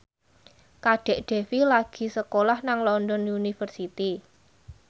Kadek Devi lagi sekolah nang London University